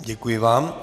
Děkuji vám.